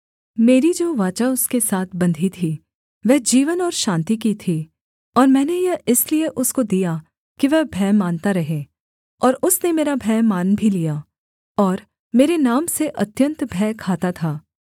मेरी जो वाचा उसके साथ बंधी थी वह जीवन और शान्ति की थी और मैंने यह इसलिए उसको दिया कि वह भय मानता रहे और उसने मेरा भय मान भी लिया और मेरे नाम से अत्यन्त भय खाता था